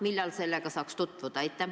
Millal sellega saaks tutvuda?